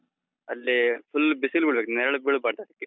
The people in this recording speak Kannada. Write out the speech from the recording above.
ಅಲ್ಲಿ full ಬಿಸಿಲು ಬೀಳ್ಬೇಕು, ನೆರಳು ಬೀಳ್ಬಾರ್ದು ಅದಕ್ಕೆ.